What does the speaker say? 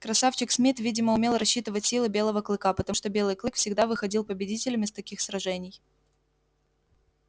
красавчик смит видимо умел рассчитывать силы белого клыка потому что белый клык всегда выходил победителем из таких сражений